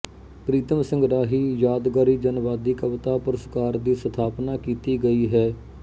ਪ੍ਰੀਤਮ ਸਿੰਘ ਰਾਹੀ ਯਾਦਗਾਰੀ ਜਨਵਾਦੀ ਕਵਿਤਾ ਪੁਰਸਕਾਰ ਦੀ ਸਥਾਪਨਾ ਕੀਤੀ ਗਈ ਹੈ